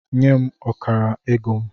Nye m ọkara ego m!